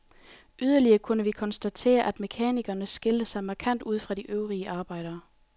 Yderligere kunne vi konstatere, at mekanikerne skilte sig markant ud fra de øvrige arbejdere.